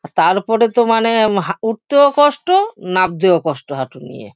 তারপরে তো মানে উম হা উঠতেও কষ্ট নাবতেও কষ্ট হাঁটু নিয়ে।